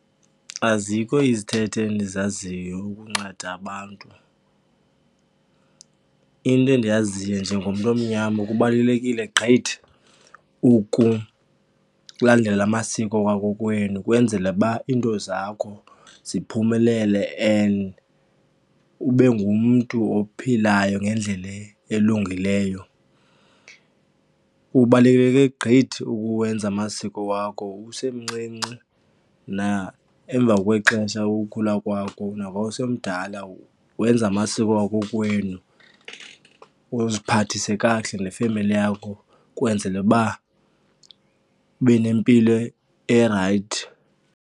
Azikho izithethe endizaziyo ukunceda abantu. Into endiyaziyo njengomntu omnyama kubalulekile gqithi ukulandela amasiko wakokwenu ukwenzele uba iinto zakho ziphumelele and ube ngumntu ophilayo ngendlela elungileyo. Kubaluleke gqithi ukuwenza amasiko wakho usemncinci naemva kwexesha ukukhula kwako nangoku sowomdala, wenze amasiko wakokwenu, uziphathise kakuhle nefemeli yakho kwenzele uba ube nempilo erayithi.